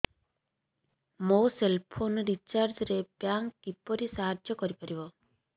ମୋ cell phone recharge ରେ bank କିପରି ସାହାଯ୍ୟ କରିପାରିବ